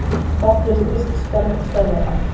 En fátt virðist stöðva þá.